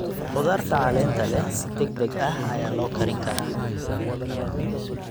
Khudaarta caleenta leh si degdeg ah ayaa loo karin karaa.